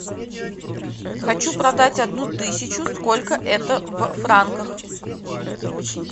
хочу продать одну тысячу сколько это в франках